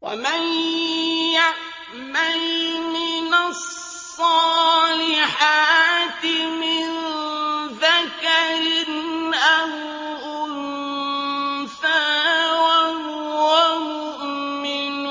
وَمَن يَعْمَلْ مِنَ الصَّالِحَاتِ مِن ذَكَرٍ أَوْ أُنثَىٰ وَهُوَ مُؤْمِنٌ